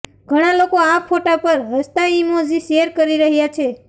ઘણા લોકો આ ફોટા પર હસતાં ઇમોજી શેર કરી રહ્યાં છે